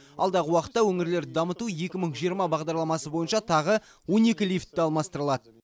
алдағы уақытта өңірлерді дамыту екі мың жиырма бағдарламасы бойынша тағы он екі лифті алмастырылады